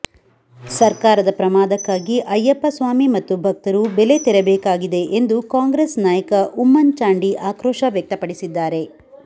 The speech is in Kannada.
ಸರ್ಕಾರದ ಪ್ರಮಾದಕ್ಕಾಗಿ ಅಯ್ಯಪ್ಪ ಸ್ವಾಮಿ ಮತ್ತು ಭಕ್ತರು ಬೆಲೆ ತೆರಬೇಕಾಗಿದೆ ಎಂದು ಕಾಂಗ್ರೆಸ್ ನಾಯಕ ಉಮ್ಮನ್ ಚಾಂಡಿ ಆಕ್ರೋಶ ವ್ಯಕ್ತಪಡಿಸಿದ್ದಾರೆ